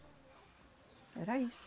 Era isso.